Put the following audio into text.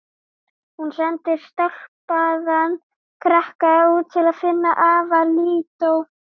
Hún sendir stálpaðan krakka út til að finna afa Lídó.